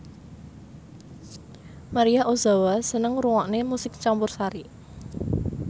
Maria Ozawa seneng ngrungokne musik campursari